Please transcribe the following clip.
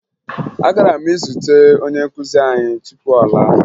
Agara m izute onye nkụzi anyị tupu ọ laa